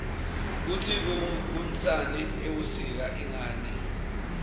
kutsi kunsani ebusika ingani